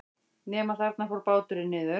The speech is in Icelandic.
Nema þarna fór báturinn niður.